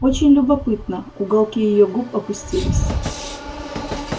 очень любопытно уголки её губ опустились